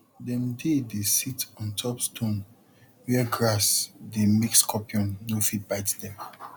dem dey dey sit on top stone where grass dey make scorpion no fit bite dem